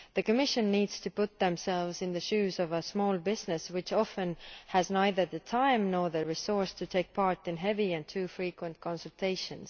The Commission needs to put itself in the shoes of a small business which often has neither the time nor the resources to take part in heavy and too frequent consultations.